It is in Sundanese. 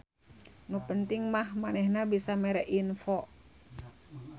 Nu penting mah manehna bisa mere info.